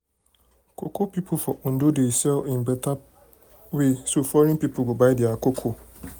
cocoa people for ondo dey sell in better better way so foreign people go buy their cocoa.